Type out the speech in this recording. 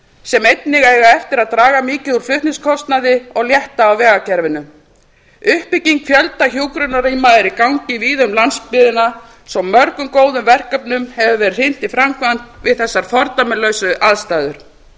sem einnig eiga eftir að draga mikið úr flutningskostnaði og létta af vegakerfinu uppbygging fjölda hjúkrunarrýma er í gangi víða um landsbyggðina svo mörgum góðum verkefnum hefur verið hrint í framkvæmd við þessar aðstæður